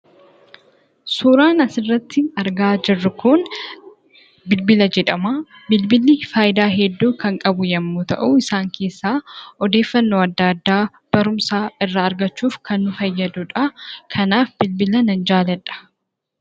Suuraan asirratti argaa jirru kun bilbila jedhama. Bilbilli faayidaa hedduu kan qabu yommuu ta'u, isaan keessaa: oddeefannoo adda addaa, barumsa irraa argachuuf kan nu fayyaduudha. Kanaaf bilbila nan jaalladha.